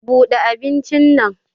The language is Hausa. Bude abincin nan.